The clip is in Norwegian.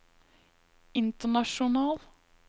international